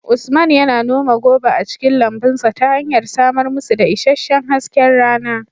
Usman yana noma goba a cikin lambun sa ta hanyar samar musu da isasshen hasken rana